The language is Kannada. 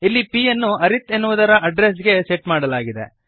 ಇಲ್ಲಿ p ಯನ್ನು ಅರಿತ್ ಎನ್ನುವುದರ ಅಡ್ರೆಸ್ ಗೆ ಸೆಟ್ ಮಾಡಲಾಗಿದೆ